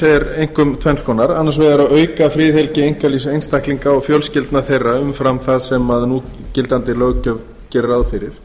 eru einkum tvenns konar annars vegar að auka friðhelgi einkalífs einstaklinga og fjölskyldna þeirra umfram það sem núgildandi löggjöf gerir ráð fyrir